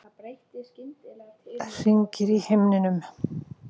Hringir í himninum.